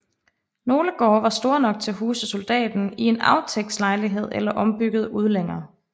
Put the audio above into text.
Nogle gårde var store nok til at huse soldaten i en aftægtslejlighed eller ombyggede udlænger